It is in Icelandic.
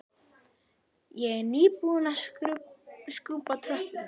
Ég er nýbúin að skrúbba tröppurnar.